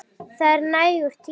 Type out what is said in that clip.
Það er nægur tími.